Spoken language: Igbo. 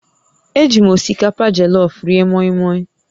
Eji m osikapa jọlọfụ rie mọịmọị